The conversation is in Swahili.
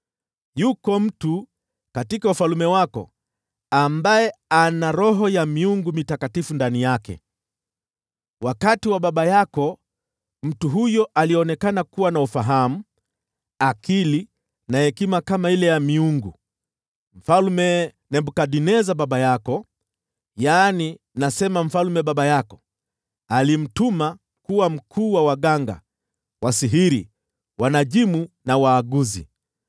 Yuko mtu katika ufalme wako ambaye ana roho ya miungu mitakatifu ndani yake. Wakati wa baba yako, mtu huyo alionekana kuwa na ufahamu, akili na hekima kama ile ya miungu. Mfalme Nebukadneza baba yako, yaani nasema mfalme baba yako, alimweka kuwa mkuu wa waganga, wasihiri, wanajimu na waaguzi.